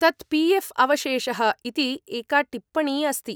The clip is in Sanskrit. तत् पी एफ् अवशेषः इति एका टिप्पणी अस्ति।